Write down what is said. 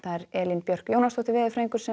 Elín Björk Jónasdóttir veðurfræðingur